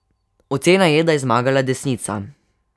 Ocena je, da je zmagala desnica.